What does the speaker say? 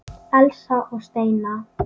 Elsa og Steina.